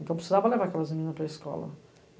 Então, eu precisava levar aquelas meninas para escola.